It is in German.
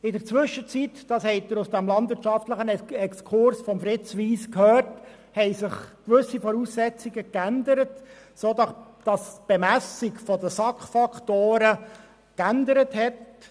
In der Zwischenzeit, und das haben Sie im landwirtschaftlichen Exkurs von Fritz Wyss gehört, haben sich gewisse Voraussetzungen geändert, sodass sich die Bemessung der SAK-Faktoren geändert hat.